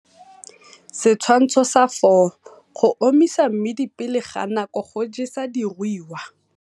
Setshwantsho sa 4 - Go omisa mmidi pele ga nako go jesa diruiwa.